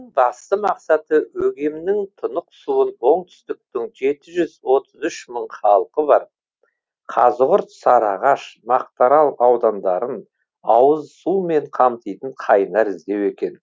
басты мақсаты өгемнің тұнық суын оңтүстіктің жеті жүз отыз үш мың халқы бар қазығұрт сарыағаш мақтарал аудандарын ауызсумен қамтитын қайнар іздеу екен